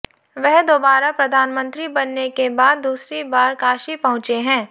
वह दोबारा प्रधानमंत्री बनने के बाद दूसरी बार काशी पहुंचे हैं